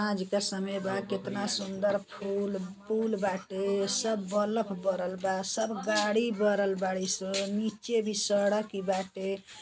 साँझ क समय बा। केतना सुंदर फूल पूल बाटे। सब बलफ बरल बा। सब गाड़ी बरल बाड़ी सन। नीचे भी सड़क ई बाटे।